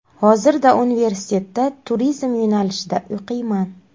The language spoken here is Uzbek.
Hozirda universitetda turizm yo‘nalishida o‘qiyman.